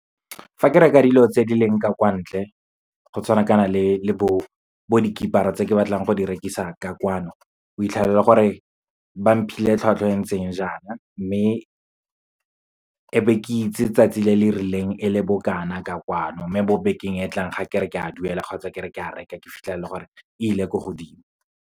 Fa ke reka dilo tse di leng ka kwa ntle, go tshwana kana le bo tse ke batlang go di rekisa ka kwano, o fitlhela e le gore ba mphile tlhwatlhwa e ntseng ja na, mme e be ke itse tsatsi le le rileng, e le bokana ka kwano. Mme bo bekeng e tlang, ga ke re ke a duela kgotsa ke re ke a reka, ke fitlhela e le gore e ile ko godimo.